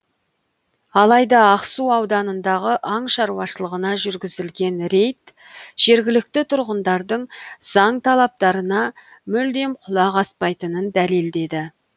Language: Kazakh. алайда ақсу ауданындағы аң шаруашылығына жүргізілген рейд жергілікті тұрғындардың заң талаптарына мүлдем құлақ аспайтынын дәлелдеді